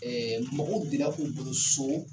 Ɛɛ mɔgɔw bira k'u bolo so